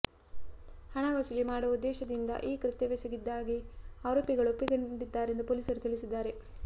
ಹಣ ವಸೂಲಿ ಮಾಡುವ ಉದ್ದೇಶದಿಂದ ಈ ಕೃತ್ಯವೆಸಗಿದ್ದಾಗಿ ಆರೋಪಿಗಳು ಒಪ್ಪಿಕೊಂಡಿದ್ದಾರೆಂದು ಪೊಲೀಸರು ತಿಳಿಸಿದ್ದಾರೆ